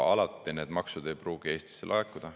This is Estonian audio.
Alati need maksud ei pruugi Eestisse laekuda.